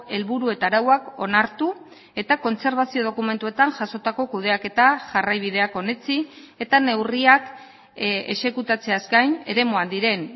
helburu eta arauak onartu eta kontserbazio dokumentuetan jasotako kudeaketa jarraibideak onetsi eta neurriak exekutatzeaz gain eremuan diren